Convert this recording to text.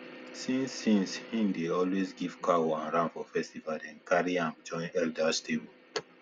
since since he dey always give cow and ram for festival dem carry am join elders table